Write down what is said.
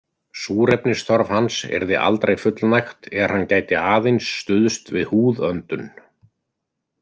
Súrefnisþörf hans yrði aldrei fullnægt er hann gæti aðeins stuðst við húðöndun.